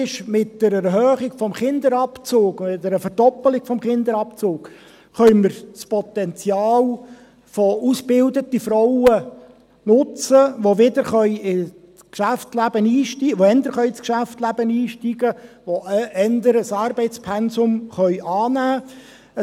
Mit der Erhöhung des Kinderabzugs, mit einer Verdoppelung des Kinderabzugs, können wir das Potenzial der ausgebildeten Frauen nutzen, die früher wieder in das Geschäftsleben einsteigen, die früher ein Arbeitspensum annehmen können.